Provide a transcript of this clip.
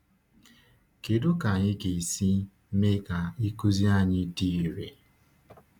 Kedu ka anyị ga-esi mee ka ịkụzi anyị dị irè?